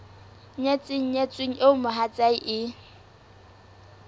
nyetseng nyetsweng eo mohatsae e